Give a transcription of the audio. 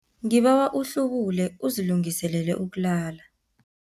Ngibawa uhlubule uzilungiselele ukulala.